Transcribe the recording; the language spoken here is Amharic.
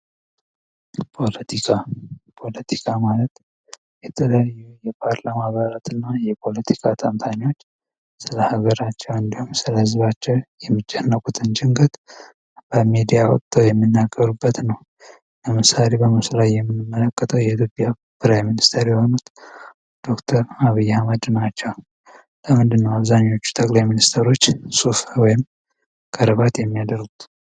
ፖለቲካ ፖለቲካ ማለት የፓርላማ አባላትና የተለያዩ የፖለቲካ ተንታኞች ስለ ሀገራቸው እንዲሁም ደግሞ ስለ ህዝባቸው የሚጨነቁትን ጭንቀት በሜዳ ወጥተው የሚናገሩበት ነው ከላይ በምስሉ ላይ የምንመለከተው የኢትዮጵያ ጠቅላይ ሚኒስትር የሆኑት ዶክተር አብይ አህመድ ናቸው እንደዚህ ነው ብዙዎቹ ጠቅላይ ሚኒስተሮች ሱፍ እና ቀረባት የሚያደርጉት።